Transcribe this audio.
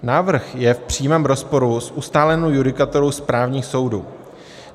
Návrh je v přímém rozporu s ustálenou judikaturou správních soudů.